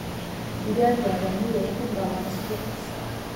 digaaggaaga miyee ukun dalaan isbuuc kasta